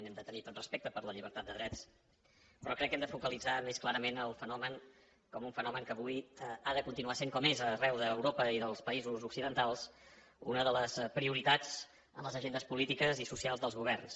hem de tenir tots respecte per la llibertat de drets però crec que hem de focalitzar més clarament el fenomen com un fenomen que avui ha de continuar sent com és arreu d’europa i dels països occidentals una de les prioritats en les agendes polítiques i socials dels governs